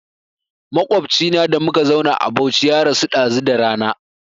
Maƙwabcina da muka zauna a Bauchi ya rasu ɗazu da rana